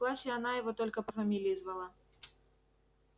в классе она его только по фамилии звала